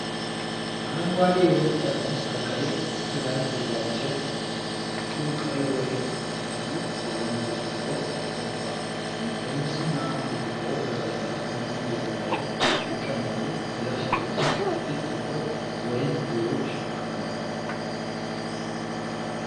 አረንጓዴ የወይን ጠርሙስ ከቀይ ክዳን የተዘጋጀ ነው፣ ከፊቱ ቀይ ወይን ሙሉ በሆነ ብርጭቆ ተቀምጧል። ጠርሙሱና ብርጭቆው በቀላል ቡኒ ጀርባ ላይ ሲቀመጡ፣ ከታች ደግሞ ጥቂት ጥቁር ወይን ፍሬዎች አሉ።